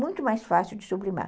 Muito mais fácil de sublimar.